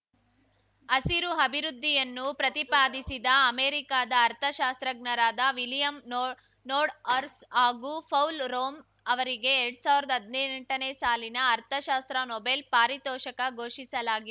ಹಸಿರು ಅಭಿವೃದ್ಧಿಯನ್ನು ಪ್ರತಿಪಾದಿಸಿದ ಅಮೆರಿಕದ ಅರ್ಥಶಾಸ್ತ್ರಜ್ಞರಾದ ವಿಲಿಯಂ ನೋಡ್ ನೋರ್ಡ್‌ಹರ್ ಹಾಗೂ ಪೌಲ್‌ ರೋಮ್ ಅವರಿಗೆ ಎರಡ್ ಸಾವಿರ್ದಾ ಹದ್ನೆಂಟನೇ ಸಾಲಿನ ಅರ್ಥಶಾಸ್ತ್ರ ನೊಬೆಲ್‌ ಪಾರಿತೋಷಕ ಘೋಷಿಸಲಾಗಿದೆ